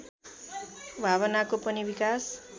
भावनाको पनि विकास